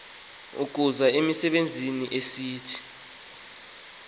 ukuza ezimbizweni esithi